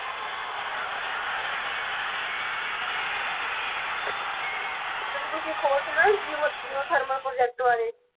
ਤੇ ਤੁਸੀਂ ਇੱਕ ਹੋਰ ਸੁਣਿਆ ਜੀਓ thermal project ਬਾਰੇ?